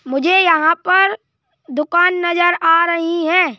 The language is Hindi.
मुझे यहाँ पर दुकान नजर आ रही है।